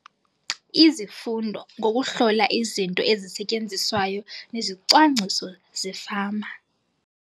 Izifundo ngokuHlola iziNto eziSetyenziswayo neziCwangciso zeFama.